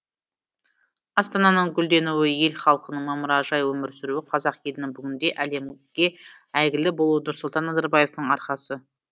астананың гүлденуі ел халқының мамыражай өмір сүруі қазақ елінің бүгінде әлемге әйгілі болуы нұрсұлтан назарбаевтың арқасы